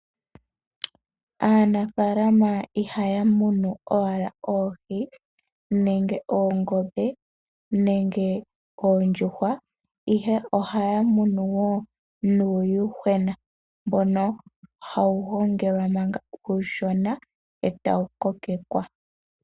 Aanafalama ihaya munu owala oohi, nenge oongombe, nenge oondjuhwa, ihe ohaya munu wo nuuyuhwena, mbono hawu gongelwa manga uushona, e tawu kokekwa.